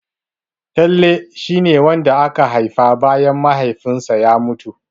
Talle shia ne wanda aka haifa bayan Mahaifinsa ya mutu.